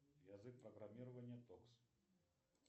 язык программирования токс